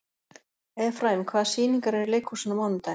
Efraím, hvaða sýningar eru í leikhúsinu á mánudaginn?